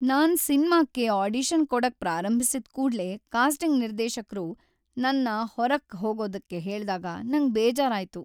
ನಾನ್ ಸಿನ್ಮಾಕ್ಕೆ ಆಡಿಷನ್ ಕೊಡಕ್ ಪ್ರಾರಂಭಿಸಿದ್ ಕೂಡ್ಲೇ ಕಾಸ್ಟಿಂಗ್ ನಿರ್ದೇಶಕ್ರು ನನ್ನ ಹೊರ್ಗ್ ಹೋಗೋದಕ್ಕೆ ಹೇಳ್ದಾಗ ನಂಗ್ ಬೇಜಾರ್ ಆಯ್ತು.